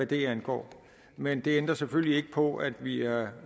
det angår men det ændrer selvfølgelig ikke på at vi er